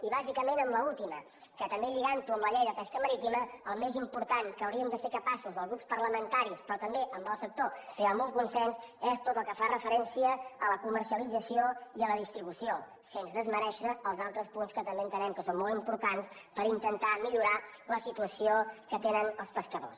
i bàsicament amb l’última que també lligant ho amb la llei de pesca marítima el més important que hauríem de ser capaços els grups parlamentaris però també el sector és crear un consens és tot el que fa referència a la comercialització i a la distribució sens desmerèixer els altres punts que també entenem que són molt importants per intentar millorar la situació que tenen els pescadors